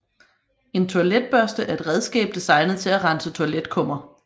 En toiletbørste er et redskab designet til at rense toiletkummer